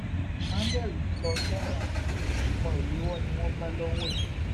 emmanuel ń lọ sẹwọn o ìbọn ìléwọ ni wọn bá lọwọ ẹ